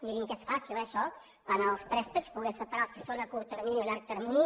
mirin que és fàcil eh això en els préstecs poder separar els que són a curt termini o a llarg termini